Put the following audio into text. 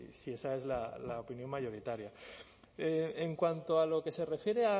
si esa es la opinión mayoritaria en cuanto a lo que se refiere